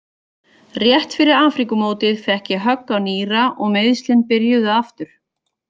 Rétt fyrir Afríkumótið fékk ég högg á nýra og meiðslin byrjuðu aftur.